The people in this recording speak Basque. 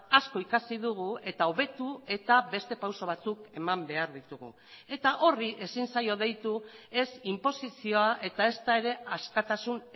asko ikasi dugu eta hobetu eta beste pauso batzuk eman behar ditugu eta horri ezin zaio deitu ez inposizioa eta ezta ere askatasun